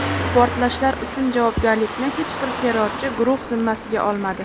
Portlashlar uchun javobgarlikni hech bir terrorchi guruh zimmasiga olmadi.